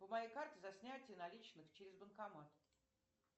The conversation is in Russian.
по моей карте за снятие наличных через банкомат